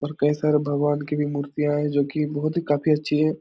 और कई सारे भगवान की भी मूर्तियाँ हैं जो की बहुत ही काफी अच्छी हैं।